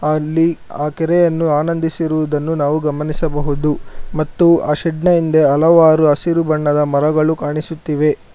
ಅಲ್ಲಿ ಆ ಕೆರೆಯನ್ನು ಆನಂದಿಸಿರುವುದನ್ನು ನಾವು ಗಮನಿಸಬಹುದು ಮತ್ತು ಆ ಶೇಡ್ ನ ಹಿಂದೆ ಹಲವಾರು ಹಸಿರು ಬಣ್ಣದ ಮರಗಳು ಕಾಣಿಸುತ್ತಿವೆ.